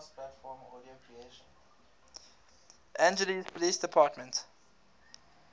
angeles police department